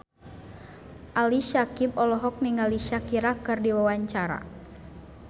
Ali Syakieb olohok ningali Shakira keur diwawancara